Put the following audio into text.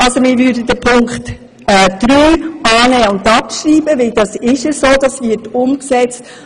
Wir würden also Punkt 3 annehmen und abschreiben lassen – er wird schon umgesetzt.